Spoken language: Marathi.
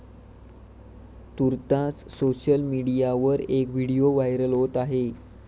तूर्तास सोशल मीडियावर एक व्हिडीओ व्हायरल होत आहे.